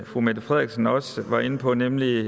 fru mette frederiksen også var inde på nemlig